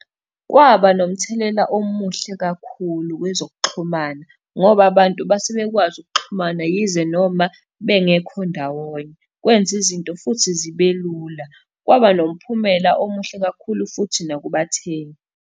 Kwaba nomthelela omuhle kakhulu kwezokuxhumana, ngoba abantu base bekwazi ukuxhumana yize noma bengekho ndawonye, kwenza izinto futhi zibe lula. Kwaba nomphumela omuhle kakhulu futhi nakubathengi.